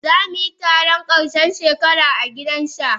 Za mu yi taron karshen shekara a gidan sha.